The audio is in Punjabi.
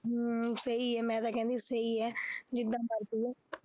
ਹਮ ਸਹੀ ਹੈ ਮੈਂ ਤਾਂ ਕਹਿੰਦੀ ਸਹੀ ਹੈ ਜਿੱਦਾਂ ਮਰਜ਼ੀ ਹੈ।